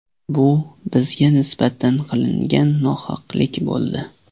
Bu bizga nisbatan qilingan nohaqlik bo‘ldi.